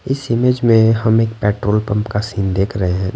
इस इमेज में हम एक पेट्रोल पंप का सीन देख रहे हैं।